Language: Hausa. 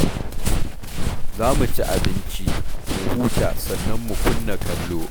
Za mu ci abinci, mu huta sannan mu kunna kallo.